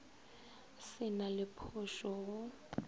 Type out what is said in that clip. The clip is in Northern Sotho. se na le phošo go